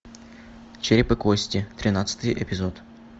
череп и кости тринадцатый эпизод